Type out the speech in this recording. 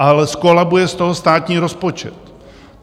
Ale zkolabuje z toho státní rozpočet.